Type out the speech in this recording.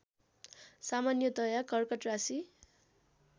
सामान्यतया कर्कट राशि